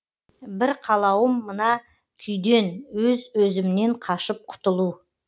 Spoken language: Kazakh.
бір қалауым мына күйден өз өзімнен қашып құтылу